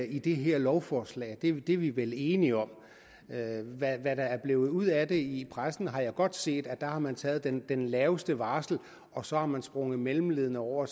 i det her lovforslag det er vi vi vel enige om hvad der er blevet ud af det i pressen har jeg godt set der har man taget det laveste varsel og så har man sprunget mellemleddene over